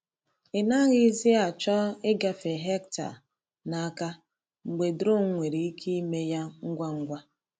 Ị naghịzi achọ ịgafe hectare n’aka mgbe drone nwere ike ime ya ngwa ngwa.